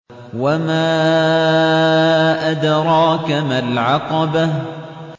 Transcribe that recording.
وَمَا أَدْرَاكَ مَا الْعَقَبَةُ